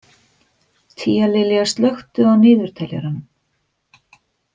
Tíalilja, slökktu á niðurteljaranum.